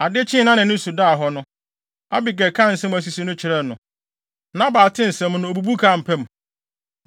Ade kyee a nʼani so daa hɔ no, Abigail kaa nsɛm a asisi no kyerɛɛ no. Nabal tee nsɛm no, obubu kaa mpa mu.